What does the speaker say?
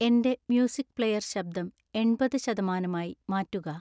എന്‍റെ music player ശബ്ദം എൺപത് ശതമാനമായി മാറ്റുക